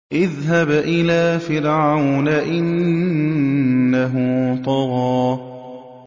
اذْهَبْ إِلَىٰ فِرْعَوْنَ إِنَّهُ طَغَىٰ